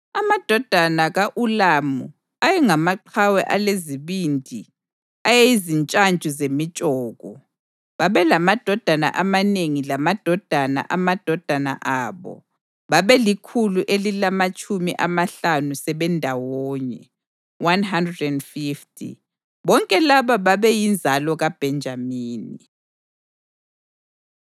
Amadodana ka-Ulamu ayengamaqhawe alezibindi ayezintshantshu zemitshoko. Babelamadodana amanengi lamadodana amadodana abo, babelikhulu elilamatshumi amahlanu sebendawonye (150). Bonke laba babeyinzalo kaBhenjamini.